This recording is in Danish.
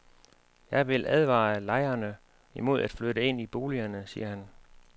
Jeg vil advare lejerne imod at flytte ind i boligerne, siger han.